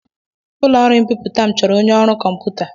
Ụlọ ọrụ mbipụta m chọọrọ onye ọrụ kọmputa.